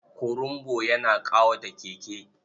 Kurumbu yana ƙawata Keke.